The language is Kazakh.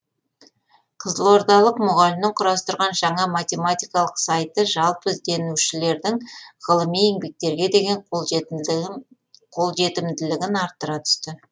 қызылордалық мұғалімнің құрастырған жаңа математикалық сайты жалпы ізденушілердің ғылыми еңбектерге деген қолжетімділігін арттыра түсті